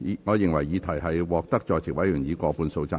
我認為議題獲得在席委員以過半數贊成。